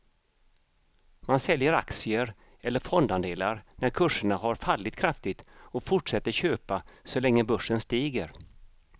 Man säljer aktier eller fondandelar när kurserna har fallit kraftigt och fortsätter köpa så länge börsen stiger.